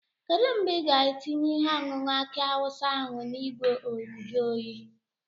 Kedu mgbe ị ga-etinye ihe ọṅụṅụ aki awụsa ahụ n'ìgwè njuoyi?